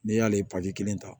N'i y'ale kelen ta